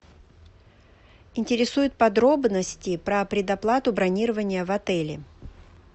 интересуют подробности про предоплату бронирования в отеле